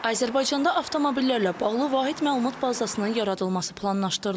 Azərbaycanda avtomobillərlə bağlı vahid məlumat bazasının yaradılması planlaşdırılır.